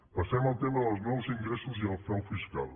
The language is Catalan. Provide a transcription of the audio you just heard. passem al tema dels nous ingressos i al frau fiscal